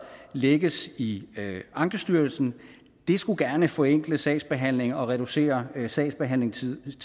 lægges i ankestyrelsen det skulle gerne forenkle sagsbehandlingen og reducere sagsbehandlingstiden